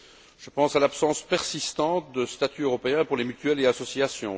Je pense à l'absence persistante de statut européen pour les mutuelles et associations.